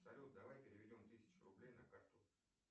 салют давай переведем тысячу рублей на карту